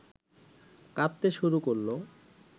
কাঁদতে শুরু করল